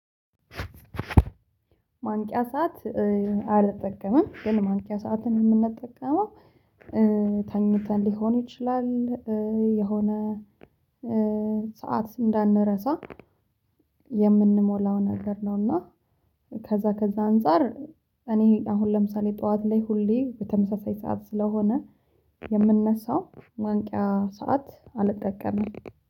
ማንቂያ ሰዓት አልጠቀምም ግን ማንቂያ ሰዓትን የምንጠቀመው ተኝተን ሊሆን ይችላል፤ የሆነ ሰዓት እንዳንረሳ የምንሞላው ነገር ነው እና ከዛ ከዛ አንፃር እኔ አሁን ለምሳሌ ጠዋት ላይ ሁሌ የተመሳሳይ ሰዓት ስለሆነ የምንነሳው፤ ማንቂያ ሰዓት አልጠቀምም።